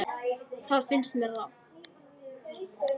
Það finnst mér rangt.